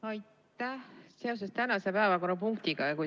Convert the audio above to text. Küsin seoses tänase päevakorrapunktiga.